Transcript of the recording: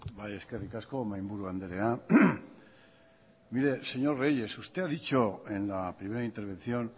bai eskerrik asko mahi buru andrea mire señor reyes usted ha dicho en la primera intervención